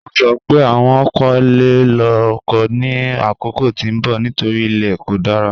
Wọ́n sọ́ pé wọ́n kò le lọ́ ọkọ̀ ni akókò tí n bọ̀ nítorí ilẹ̀ kò dára.